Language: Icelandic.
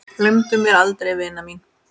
Gleymdu mér aldrei vina mín.